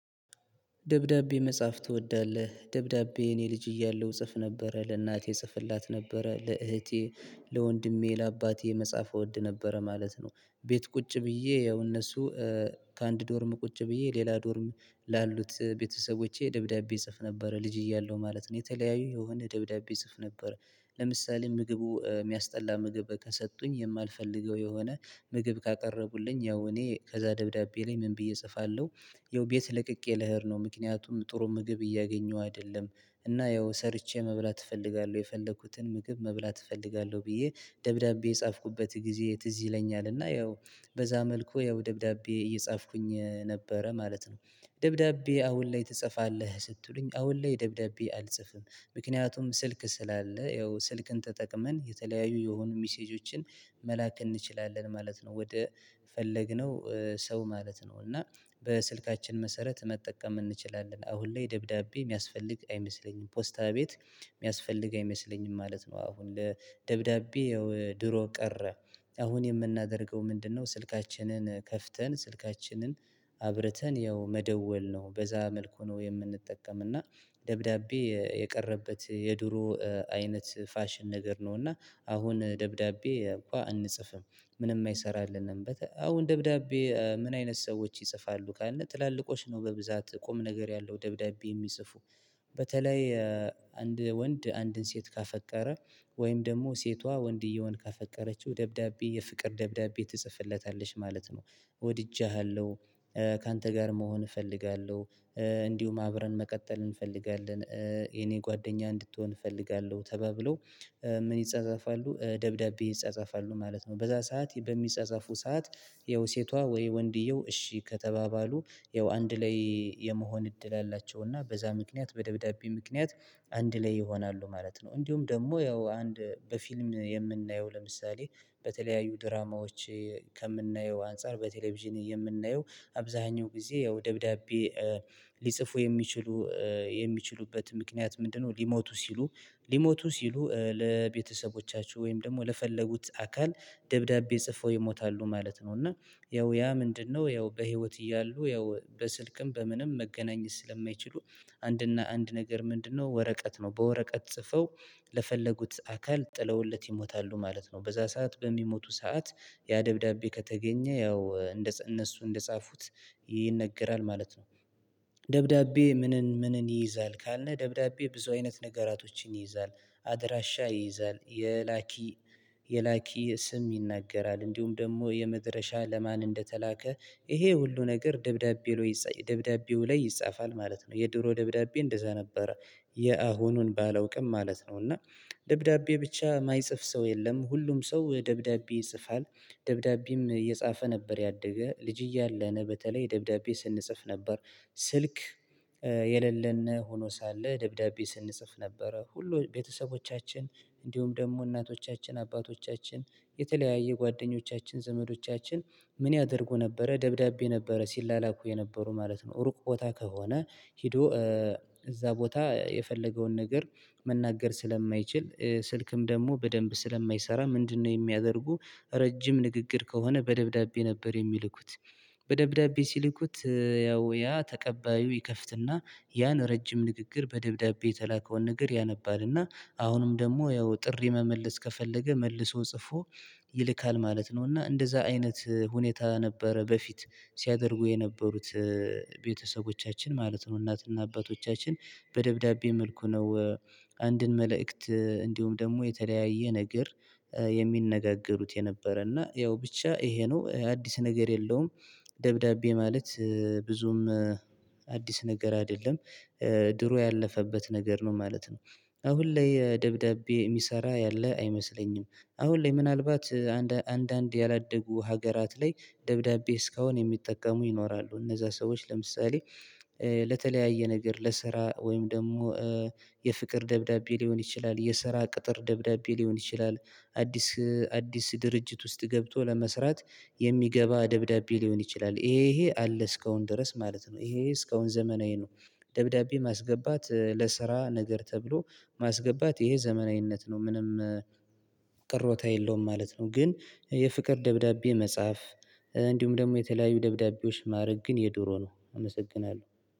ደብዳቤ መጻፍ ትወዳለህ ደብዳቤ እኔ ልጅ እያለሁ እጽፍ ነበረ ለእናቴ እጽፍላት ነበረ ለእህቴ ለወንድሜ ለአባቴ መጻፍ እወድ ነበረ ማለት ነው ቤት ቁጭ ብዬ ያው እነሱ ከአንድ ዶርም ቁጭ ብዬ ሌላ ዶርም ላሉት ቤተሰቦቼ ደብዳቤ እጽፍ ነበረ ልጅ እያለሁ ማለት ነው የተለያዩ የሆነ ደብዳቤ እጽፍ ነበር ለምሳሌ ምግቡ የሚያስጠላ ምግብ ከሰጡኝ የማልፈልገው የሆነ ምግብ ካቀረቡልኝ ያው እኔ ከዛ ደብዳቤ ላይ ምን ብዬ እጽፋለሁ ያው ቤት ለቅቄ ልሄድ ነው ምክንያቱም ጥሩ ምግብ እያገኘሁ አይደለም እና ያው ሰርቼ መብላት እፈልጋለሁ የፈለኩትን ምግብ መብላት እፈልጋለሁ ብዬ ደብዳቤ የጻፍኩበት ጊዜ ትዝ ይለኛል እና ያው በዛ መልኩ ያው ደብዳቤ እየጻፍኩኝ ነበረ ማለት ነው ደብዳቤ አሁን ላይ ትጽፋለህ? ስትሉኝ አሁን ላይ ደብዳቤ አልጽፍም ምክንያቱም ስልክ ስላለ ያው ስልክን ተጠቅመን የተለያዩ የሆኑ ሚሴጆችን መላክ እንችላለን ማለት ነው ወደ የፈለግነው ሰው ማለት ነው እና በስልካችን መሰረት መጠቀም እንችላለን አሁን ላይ ደብዳቤ የሚያስፈልግ አይመስለኝም ፖስታ ቤት የሚያስፈልግ አይመስለኝም ማለት ነው አሁን ላይ ደብዳቤ ድሮ ቀረ አሁን የምናደርገው ምንድነው ስልካችንን ከፍተን ስልካችንን አብርተን ያው መደወል ነው በዛ መልኩ ነው የምንጠቀም እና ደብዳቤ የቀረበት የድሮ አይነት ፋሽን ነገር ነው እና አሁን ደብዳቤ እንኳን አንጽፍም ምንም አይሰራልንም አሁን ደብዳቤ ምን አይነት ሰዎች ይጽፋሉ? ካልነው ትላልቆች ነው በብዛት ቁም ነገር ያለው ደብዳቤ የሚጽፉ በተለይ አንድ ወንድ አንድን ሴት ካፈቀረ ወይም ደግሞ ሴቷ ወንድየውን ካፈቀረችው ደብዳቤ የፍቅር ደብዳቤ ትጽፍለታለች ማለት ነው ወድጀሃለሁ ካንተ ጋር መሆን እፈልጋለሁ እንዲሁም አብረን መቀጠል እንፈልጋለን የኔ ጓደኛ እንድትሆን እፈልጋለሁ ተባብለው ምን ይጻጻፋሉ ደብዳቤ ይጻጻፋሉ ማለት ነው በዛ ሰዓት በሚጻጻፉ ሰዓት ያው ሴቷ ወይ ወንድየው እሺ ከተባባሉ ያው አንድ ላይ የመሆን እድል አላቸውና በዛ ምክንያት በደብዳቤ ምክንያት አንድ ላይ ይሆናሉ ማለት ነው እንዲሁም ደግሞ ያው አንድ በፊልም የምናየው ለምሳሌ በተለያዩ ድራማዎች ከምናየው አንፃር በቴሌቪዥን የምናየው አብዛኛው ጊዜ ያው ደብዳቤ ሊጽፉ የሚችሉ የሚችሉበት ምክንያት ምንድነው ሊሞቱ ሲሉ ሊሞቱ ሲሉ ለቤተሰቦቻቸው ወይም ደግሞ ለፈለጉት አካል ደብዳቤ ጽፈው ይሞታሉ ማለት ነው እና ያው ያ ምንድነው ያው በህይወት እያሉ ያው በስልክም በምንም መገናኘት ስለማይችሉ አንድና አንድ ነገር ምንድነው ወረቀት ነው በወረቀት ጽፈው ለፈለጉት አካል ጥለውለት ይሞታሉ ማለት ነው በዛ ሰዓት በሚሞቱ ሰዓት ያ ደብዳቤ ከተገኘ ያው እነሱ እንደጻፉት ይነገራል ማለት ነው ደብዳቤ ምንን ምንን ይይዛል ካልነህ ደብዳቤ ብዙ አይነት ነገራቶችን ይይዛል አደራሻ ይይዛል የላኪ የላኪ ስም ይናገራል እንዲሁም ደግሞ የመድረሻ ለማን እንደተላከ ይሄ ሁሉ ነገር ደብዳቤው ላይ ይጻፋል ማለት ነው የድሮ ደብዳቤ እንደዛ ነበር የአሁኑን ባለውቅም ማለት ነው እና ደብዳቤ ብቻ የማይጽፍ ሰው የለም ሁሉም ሰው ደብዳቤ ይጽፋል ደብዳቤም የጻፈ ነበር ያደገ ልጅ እያለን በተለይ ደብዳቤ ስንጽፍ ነበር ስልክ የሌለን ሆኖ ሳለ ደብዳቤ ስንጽፍ ነበረ ሁሉ ቤተሰቦቻችን እንዲሁም ደግሞ እናቶቻችን አባቶቻችን የተለያየ ጓደኞቻችን ዘመዶቻችን ምን ያደርጉ ነበረ ደብዳቤ ነበረ ሲላላኩ የነበሩ ማለት ነው ሩቅ ቦታ ከሆነ ሄዶ እዛ ቦታ የፈለገውን ነገር መናገር ስለማይችል ስልክም ደግሞ በደንብ ስለማይሰራ ምንድነው የሚያደርጉ ይኸው ሴቷ ወይ ወንድየው እሺ ከተባባሉ ይኸው አንድ ላይ የመሆን እድል አላቸውና በዛ ምክንያት በደብዳቤ ምክንያት አንድ ላይ ይሆናሉ ማለት ነው እንዲሁም ደግሞ ያው አንድ በፊልም የምናየው ለምሳሌ በተለያዩ ድራማዎች በደብዳቤ ሲልኩት ያው ያ ተቀባዩ ይከፍትና ያን ረጅም ንግግር በደብዳቤ የተላከውን ነገር ያነባል እና አሁንም ደግሞ ያው ጥሪ መመለስ ከፈለገ መልሶ ጽፎ ይልካል ማለት ነው እና እንደዛ አይነት ሁኔታ ነበረ በፊት ሲያደርጉ የነበሩት ቤተሰቦቻችን ማለት ነው እናትና አባቶቻችን በደብዳቤ መልኩ ነው አንድን መልእክት እንዲሁም ደግሞ የተለያየ ነገር የሚነጋገሩት የነበረ እና ያው ብቻ ይሄ ነው አዲስ ነገር የለውም ደብዳቤ ማለት ብዙም አዲስ ነገር አይደለም ድሮ ያለፈበት ነገር ነው ማለት ነው አሁን ላይ ደብዳቤ የሚሰራ ያለ አይመስለኝም አሁን ላይ ምናልባት አንድ አንድ ያላደጉ ሀገራት ላይ ደብዳቤ እስካሁን የሚጠቀሙ ይኖራሉ እነዛ ሰዎች ለምሳሌ ለተለያየ ነገር ለስራ ወይም ደግሞ የፍቅር ደብዳቤ ሊሆን ይችላል የስራ ቅጥር ደብዳቤ ሊሆን ይችላል አዲስ አዲስ ድርጅት ውስጥ ገብቶ ለመስራት የሚገባ ደብዳቤ ሊሆን ይችላል ይሄ ይሄ አለ እስካሁን ድረስ ማለት ነው ይሄ እስካሁን ዘመናዊ ነው ደብዳቤ ማስገባት ለስራ ነገር ተብሎ ማስገባት ይሄ ዘመናዊነት ነው ምንም ቅሮታ የለውም ማለት ነው ግን የፍቅር ደብዳቤ መጻፍ እንዲሁም ደግሞ የተለያዩ ደብዳቤዎች ማድረግ ግን የድሮ ነው አመሰግናለሁ